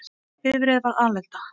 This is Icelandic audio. Bifreið varð alelda